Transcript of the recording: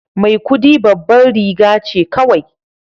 Maikudi babbar riga ce kawai